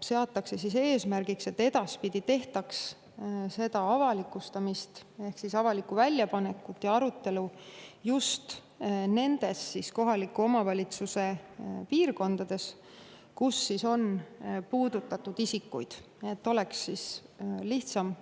Seatakse eesmärgiks, et edaspidi tehtaks avalikustamist ehk avalikku väljapanekut ja arutelu just nendes kohaliku omavalitsuse piirkondades, kus on planeeringust puudutatud isikuid, et inimestel oleks lihtsam